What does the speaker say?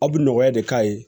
Aw bi nɔgɔya de k'a ye